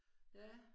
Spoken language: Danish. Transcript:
Ja